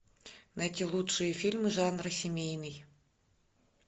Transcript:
найти лучшие фильмы жанра семейный